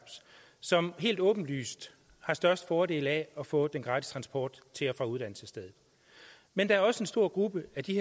som helt åbenlyst har størst fordel af at få den gratis transport til og fra uddannelsesstedet men der er også en stor gruppe af de